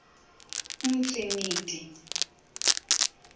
umtriniti